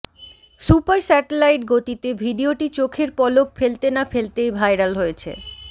super satellite গতিতে ভিডিওটি চোখের পলক ফেলতে না ফেলতেই ভাইরাল হয়েছে